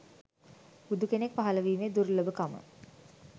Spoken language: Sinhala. බුදු කෙනෙක් පහළ වීමේ දුර්ලභකම